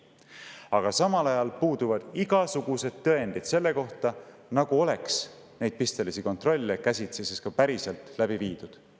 Aga samal ajal puuduvad igasugused tõendid selle kohta, et neid pistelisi kontrolle oleks käsitsi päriselt läbi viidud.